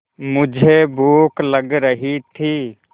मुझे भूख लग रही थी